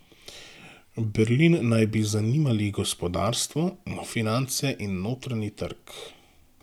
Berlin naj bi zanimali gospodarstvo, finance in notranji trg.